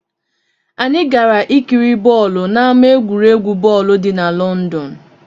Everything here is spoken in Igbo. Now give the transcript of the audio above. Anyị gara ikiri bọọlụ n'ámá egwuregwu bọọlụ dị na Lọndọn.